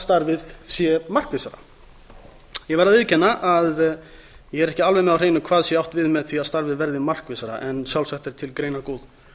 starfið sé markvissara ég verð að viðurkenna að ég er ekki alveg með á hreinu hvað sé átt við með því að starfið verði markvissara en sjálfsagt er til greinargóð